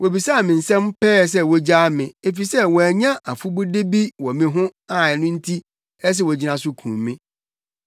Wobisaa me nsɛm pɛɛ sɛ wogyaa me, efisɛ wɔannya afɔbude bi wɔ me ho a ɛno nti ɛsɛ sɛ wogyina so kum me.